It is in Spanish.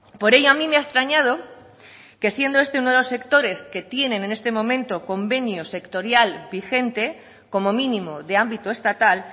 por ello a mí me ha extrañado que siendo este uno de los sectores que tiene en este momento convenio sectorial vigente como mínimo de ámbito estatal